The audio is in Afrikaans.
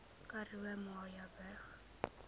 karoo murrayburg